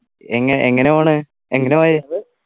എങ്ങ എങ്ങനെയാ പോണ് എങ്ങനെ പോയെ